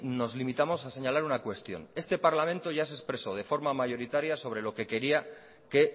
nos limitamos a señalar una cuestión este parlamento ya se expresó de forma mayoritaria sobre lo que quería que